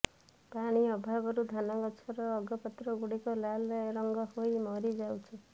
ପାଣି ଅଭାବରୁ ଧାନଗଛର ଅଗପତ୍ରଗୁଡିକ ଲାଲ ରଙ୍ଗ ହୋଇ ମରିଯାଉଛି